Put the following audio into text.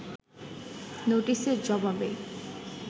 নোটিশের জবাবে